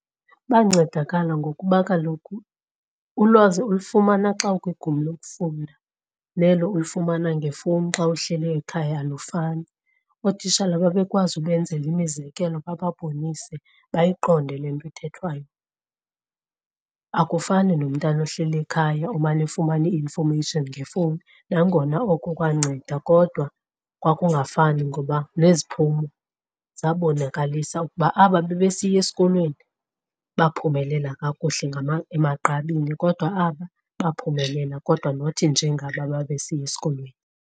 Bancedakala ngokuba kaloku ulwazi olifumana xa ukwigumbi lokufunda nelo ulifumana ngefowuni xa uhleli ekhaya alufani, ootitshala babekwazi ubenzela imizekelo bababonise bayiqonde le nto ithethwayo. Akufani nomntana ohleli ekhaya omane efumana i-information ngefowuni, nangona oko kwanceda kodwa kwakungafani. Ngoba neziphumo zabonakalisa ukuba aba babesiya esikolweni baphumelela kakuhle emagqabini, kodwa aba baphumelela kodwa not njengaba babesiya esikolweni.